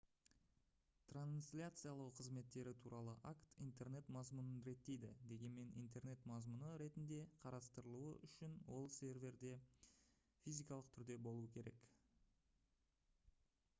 трансляциялау қызметтері туралы акт интернет мазмұнын реттейді дегенмен интернет мазмұны ретінде қарастырылуы үішн ол серверде физикалық түрде болуы керек